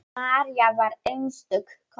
María var einstök kona.